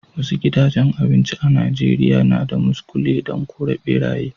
Wasu gidajen abinci a'Nijeriya na da muskule dan kore berayye.